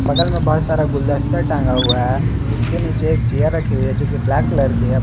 बगल में बहुत सारा गुलदस्ता टांगा हुआ है उसके नीचे एक चेयर रखी हुई है जो कि ब्लैक कलर की है।